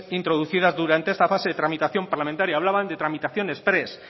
introducidas durante esta fase de tramitación parlamentaria hablaban de tramitaciones exprés